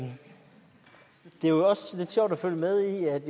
er jo også lidt sjovt at følge med i at